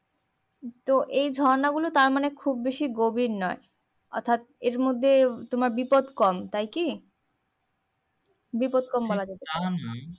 তো এই ঝর্ণা গুলো তার মানে খুব বেশি গভীর নই অর্থাৎ এর মধ্যে তোমার বিপদ কম তাইকি বিপদ কম বলা যেতে